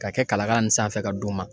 Ka kɛ kalakala ninnu sanfɛ ka d'u ma.